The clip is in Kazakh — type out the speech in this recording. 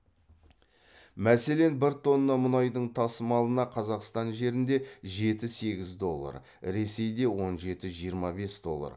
мәселен бір тонна мұнайдың тасымалына қазақстан жерінде жеті сегіз доллар ресейде он жеті жиырма бес доллар